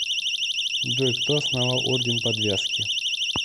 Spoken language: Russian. джой кто основал орден подвязки